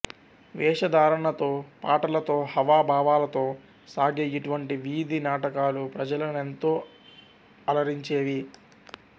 వేష ధారణతో పాటలతో హావ భావాలతో సాగే ఇటువంటి వీధి నాటకాలు ప్రజలనెంతో అలరించేవి